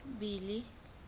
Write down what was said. billy